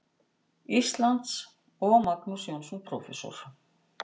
Íslands, og Magnús Jónsson, prófessor.